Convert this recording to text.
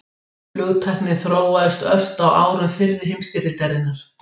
Flugtæknin þróaðist ört á árum fyrri heimsstyrjaldarinnar.